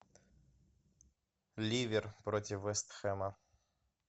ливер против вест хэма